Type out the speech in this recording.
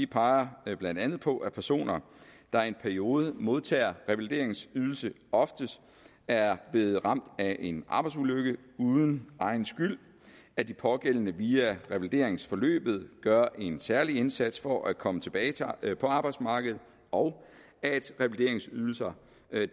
peger blandt andet på at personer der i en periode modtager revalideringsydelse oftest er blevet ramt af en arbejdsulykke uden egen skyld at de pågældende via revalideringsforløbet gør en særlig indsats for at komme tilbage på arbejdsmarkedet og at revalideringsydelser